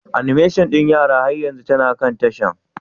Animation ɗin yara har yanzu tana kan tashar?